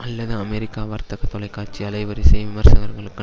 அல்லது அமெரிக்கா வர்த்தக தொலைக்காட்சி அலைவரிசை விமர்சகர்களுக்கு